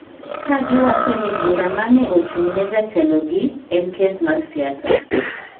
ka giwacho ni bura ma ne ochung’ne jatelogi en kes mar siasa.